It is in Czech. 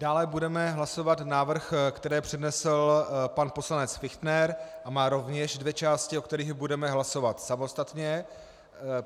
Dále budeme hlasovat návrh, který přednesl pan poslanec Fichtner a má rovněž dvě části, o kterých budeme hlasovat samostatně.